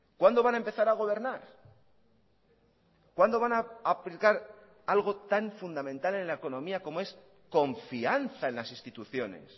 cuándo van a empezar a gobernar cuándo van a aplicar algo tan fundamental en la economía como es confianza en las instituciones